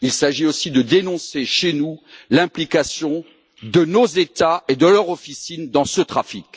Il s'agit aussi de dénoncer, chez nous, l'implication de nos États et de leur officine dans ce trafic.